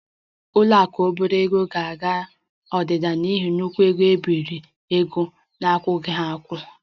Ụlọ akụ obere ego ga-aga odida n'ihi nnukwu ego nke mgbazinye ego a na-akwụghị ụgwọ